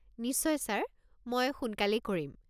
নিশ্চয় ছাৰ, মই সোনকালেই কৰিম।